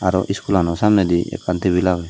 aro school ano samnedi ekkan table aage.